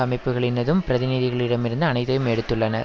அமைப்புகளினதும் பிரதிநிதிகளிடமிருந்து அனைத்தையும் எடுத்துள்ளனர்